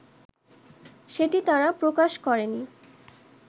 সেটি তারা প্রকাশ করেনি